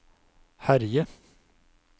herje